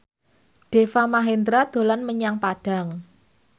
Deva Mahendra dolan menyang Padang